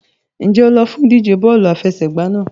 Ǹjẹ́ o lọ fún ìdíje bọ́ọ̀lù àfẹsẹ̀gbá náà?